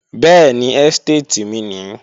Bẹ́ẹ̀ni, ẹ́stéètì mi nìí